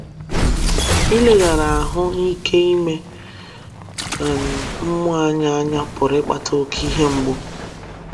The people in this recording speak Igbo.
Ileghara ahụ ike ime um mmụọ anyị anya pụrụ ịkpata oké ihe mgbu